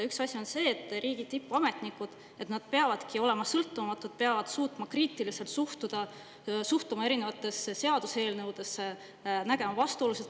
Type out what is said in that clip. Üks asi on see, et riigi tippametnikud peavad olema sõltumatud, peavad kriitiliselt suhtuma erinevatesse seaduseelnõudesse, nägema vastuolusid.